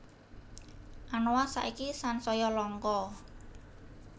Anoa saiki sansaya langka